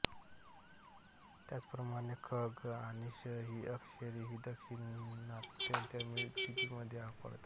त्याचप्रमाणे ख ग आणि श ही अक्षरेही दाक्षिणात्य तमिळ लिपीमध्ये सापडतात